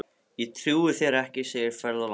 Ég trúi þér ekki, segir ferðalangur.